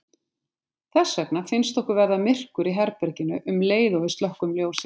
Þess vegna finnst okkur verða myrkur í herberginu um leið og við slökkvum ljósið.